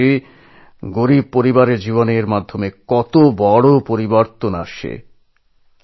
আমি বুঝতে পারছি দরিদ্র মানুষের জীবনে এর ফলে কত বড় পরিবর্তন এসেছে